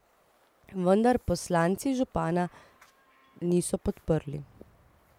Vendar poslanci župana niso podprli.